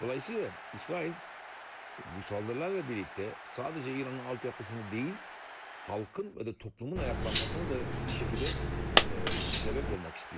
Dolayısıyla İsrail bu saldırılarla birlikdə sadəcə İranın altyapısını deyil, xalqın və də toplumun ayaqlanmasını da bir şəkildə səbəb olmaq istəyir.